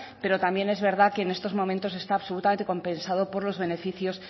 pero también es verdad que en estos momentos está absolutamente compensado por los beneficios